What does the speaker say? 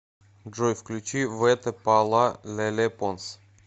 джой включи вете па ла леле понс